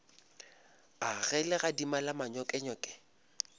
a ge legadima la manyokenyoke